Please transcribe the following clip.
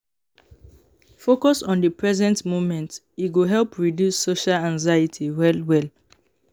Focus on the present moment, e go help reduce social anxiety well well.